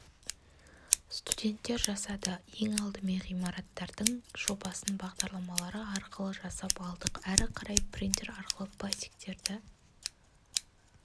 студенттер жасады ең алдымен ғимараттардың жобасын бағдарламалары арқылы жасап алдық ары қарай принтер арқылы пластиктерді